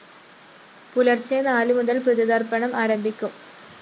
പുലര്‍ച്ചെ നാലു മുതല്‍ പിതൃതര്‍പ്പണം ആരംഭിക്കും